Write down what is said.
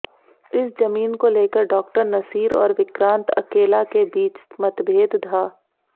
इस जमीन को लेकर डॉक्टर नसीर और विक्रांत अकेला के बीच मतभेद था